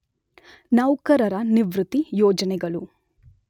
ನೌಕರರ ನಿವೃತ್ತಿ ಯೋಜನೆಗಳು